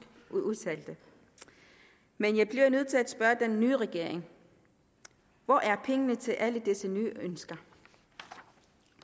udtalte men jeg bliver nødt til at spørge den nye regering hvor er pengene til alle disse nye ønsker